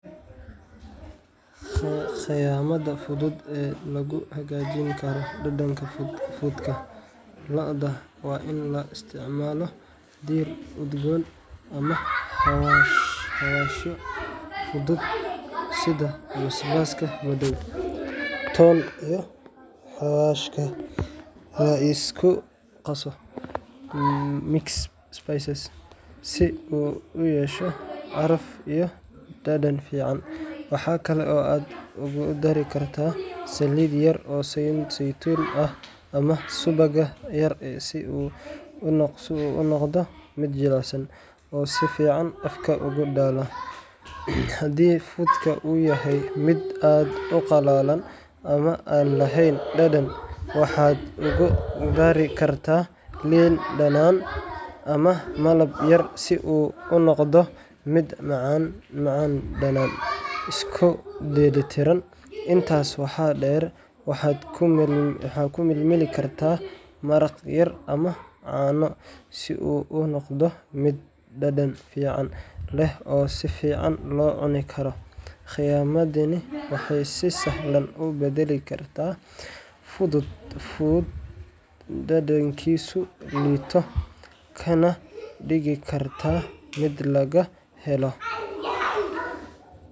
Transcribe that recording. Qitamada fuduud ee lagu hagajini karo dadanka fuudka looda waa in laisticmalo der udgon ama agashin fudud sitha ton iyo xawashka ee isku qaso mixic spaces si u uyesho caraf iyo dadan, waxaa kala oo aad ku dari kartaa salid seitun ah ama suwaga yar ee si u unoqdo miid jilacsan oo si fican afka ogu dalo hadii fudka u yahay miid aad u qalalan ama a lahen dadan waxaa lagu dari kartaa lin danan ama malab yar si u unoqdo miid macan danan isku deli tiran, intas waxaa der waxaa kumil mili kartaa maraq yar ama cano si u unoqdo mid dadan fican leh oo sifican lo cuni kara, qiyamadani waxee badali kartaa fuud dadankisu lito kana digi karto mid laga helo.